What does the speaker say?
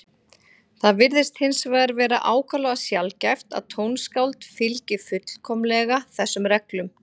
Það virðist hins vegar vera ákaflega sjaldgæft að tónskáld fylgi fullkomlega þessum reglum.